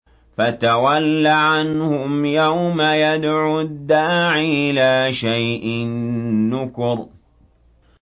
فَتَوَلَّ عَنْهُمْ ۘ يَوْمَ يَدْعُ الدَّاعِ إِلَىٰ شَيْءٍ نُّكُرٍ